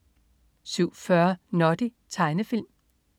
07.40 Noddy. Tegnefilm